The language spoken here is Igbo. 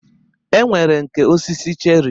E nwere nke osisi cherị.